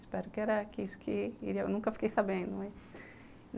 Espero que era isso, que eu nunca fiquei sabendo, né?